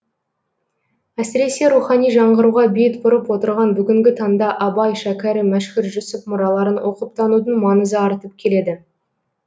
әсіресе рухани жаңғыруға бет бұрып отырған бүгінгі таңда абай шәкәрім мәшһүр жүсіп мұраларын оқып танудың маңызы артып келеді